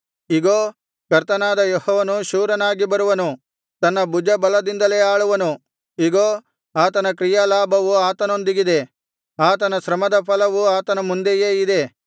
ಇಗೋ ಕರ್ತನಾದ ಯೆಹೋವನು ಶೂರನಾಗಿ ಬರುವನು ತನ್ನ ಭುಜಬಲದಿಂದಲೇ ಆಳುವನು ಇಗೋ ಆತನ ಕ್ರಿಯಾಲಾಭವು ಆತನೊಂದಿಗಿದೆ ಆತನ ಶ್ರಮದ ಫಲವು ಆತನ ಮುಂದೆಯೇ ಇದೆ